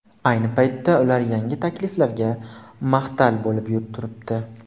Ayni paytda ular yangi takliflarga mahtal bo‘lib turibdi.